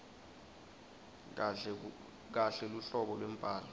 kahle luhlobo lwembhalo